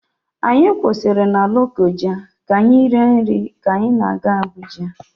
Anyị kwụsịrị na Lokoja ka anyị rie nri ka anyị na-aga Abuja.